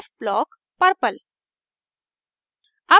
f blockpurple